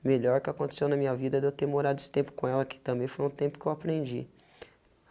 A melhor que aconteceu na minha vida é de eu ter morado esse tempo com ela, que também foi um tempo que eu aprendi.